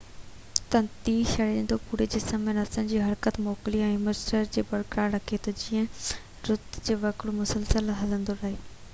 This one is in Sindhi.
تنتي سرشتو پوري جسم ۾ نسن جي حرڪت موڪلي هوميواسٽاسس کي برقرار رکي ٿو تہ جيئن رت جو وهڪرو مسلسل هلندو رهي